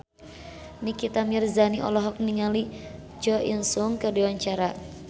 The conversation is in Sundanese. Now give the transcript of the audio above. Nikita Mirzani olohok ningali Jo In Sung keur diwawancara